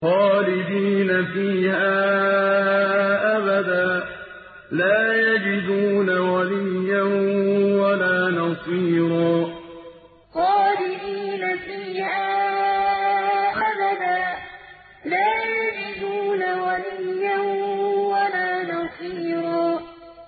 خَالِدِينَ فِيهَا أَبَدًا ۖ لَّا يَجِدُونَ وَلِيًّا وَلَا نَصِيرًا خَالِدِينَ فِيهَا أَبَدًا ۖ لَّا يَجِدُونَ وَلِيًّا وَلَا نَصِيرًا